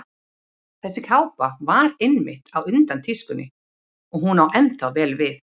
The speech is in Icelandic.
Þessi kápa var einmitt á undan tískunni og hún á ennþá vel við.